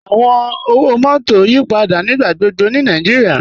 Awọn ọwọ-mọtọ n yípadà nígbàgbọ̀gbọ̀ ni Nàìjíríà.